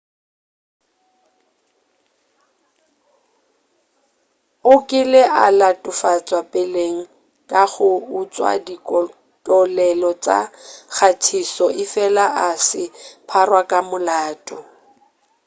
o kile a latofatša peleng ka go utšwa ditokelo tša kgathišo efela a se a pharwa ka molato